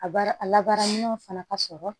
A baara a labaara minɛn fana ka sɔrɔ